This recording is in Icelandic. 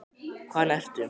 Hvaðan ertu?